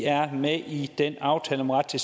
er med i den aftale om ret til